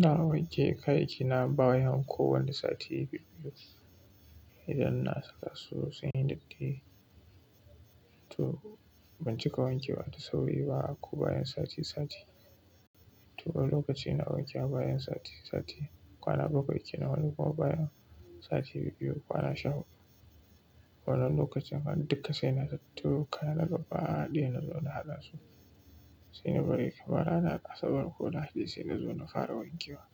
Na wanke kaya kina bayan kowane sati biyu-biyu, idan na saka su sun yi datti. To ban cika wanke wa da sauri ba ko bayan sati sati. To wani lokaci ina wanke bayan sati sati, kwana bakwai kenan wani kuma bayan sati biyu biyu kwana sha huɗu. Wannan lokacin han dukka sai na tattaro kayana gaba ɗaya na zo na haɗa su. Sai na bari kamar ranar asabar ko lahadi sai na zo na fara wanke wa.